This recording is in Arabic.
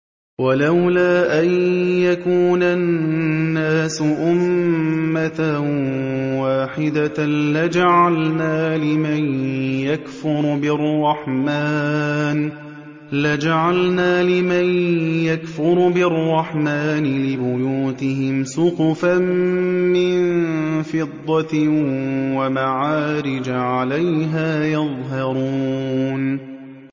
وَلَوْلَا أَن يَكُونَ النَّاسُ أُمَّةً وَاحِدَةً لَّجَعَلْنَا لِمَن يَكْفُرُ بِالرَّحْمَٰنِ لِبُيُوتِهِمْ سُقُفًا مِّن فِضَّةٍ وَمَعَارِجَ عَلَيْهَا يَظْهَرُونَ